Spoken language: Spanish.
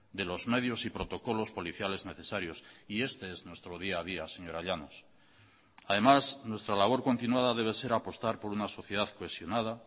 de los medios y protocolos policiales necesarios y este es nuestro día a día señora llanos además nuestra labor continuada debe ser apostar por una sociedad cohesionada